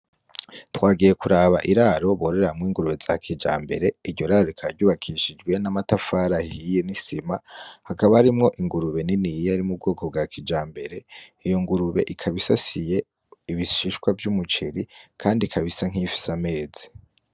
Twagiye kuraba iraro bororemwo ingurube za kijambere iryoraro rikaba ryubakishije amatafari ahiye n'isima hakaba harimwo ingurube niniya yo mu bwoko bwa kijambere iyo ngurube ikaba isasiye ibishishwa vy'umuceri kandi ikaba isa bk'iyifise amezi.